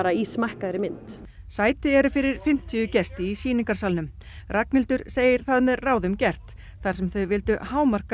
í smækkaðri mynd sæti eru fyrir fimmtíu gesti í sýningarsalnum Ragnhildur segir það með ráðum gert þar sem þau vildu hámarka